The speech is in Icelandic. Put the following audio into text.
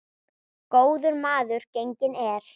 Góður maður genginn er.